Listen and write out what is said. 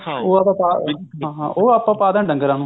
ਉਹ ਆਪਾਂ ਹਾਂ ਉਹ ਆਪਾਂ ਪਾ ਦਿੰਦੇ ਆ ਡੰਗਰਾ ਨੂੰ